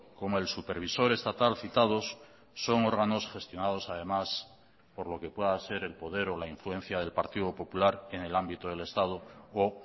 como el supervisor estatal citados son órganos gestionados además por lo que pueda ser el poder o la influencia del partido popular en el ámbito del estado o